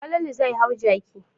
Falalu zai hau jaki.